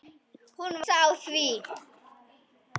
Hún var hissa á því.